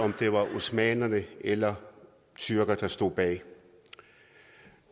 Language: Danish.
om det var osmanner eller tyrkere der stod bag